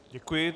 Děkuji.